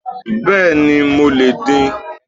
Béèni mo lè din